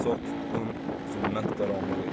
Çox tutqun, zülmət qaranlıq idi.